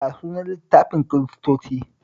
Ya sunan littafin Kiristoci?